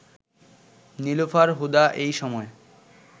নীলুফার হুদা এই সময়